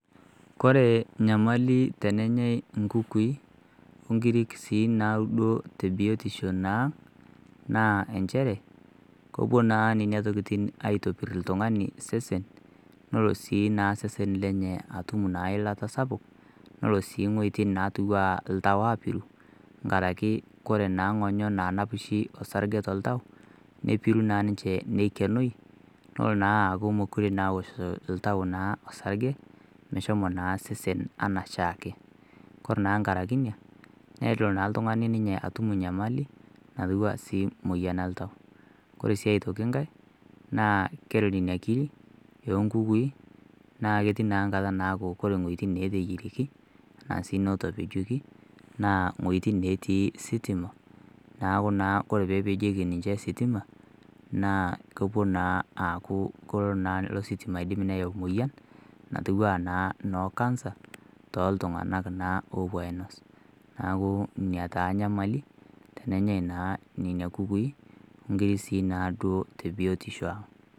Kore nyamali tenenyai inkukui orkirik siiduo tebiotisho naa naa inchere kepuo naa nena tokitin aaitopir oltung'ani nepuo naa nena tokitin aitanyamal oltung'ani nkaraki kore naa ngonyo naa nap orsarge toltau nepuo aaikeno neloo naa aaku meekure ewoshito oltau naa orsarge meshomo naa sesen enaa oshiake kore naa inkaraki ina nelo naa oltung'ani atum enyamali natii moyian oltau kore sii ae toki nkae ketii nkata naaku kore iwuejitin naateyierieki ashuu neetopejioki naaa iweitin natii sitima neeku naa ore peepejieki ninche sitima naa kepuo naa aaaku kelo ilo sitima atibu inamoyia aanoo cancer tooltung'ak naa oopuo ainos neeku ina naa enyamali tooltung'ak oopuo ainos inkukui amu kere naa tebiotisho